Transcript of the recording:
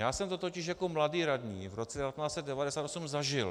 Já jsem to totiž jako mladý radní v roce 1990 zažil.